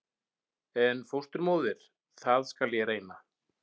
En fósturmóðir- það skal ég reyna.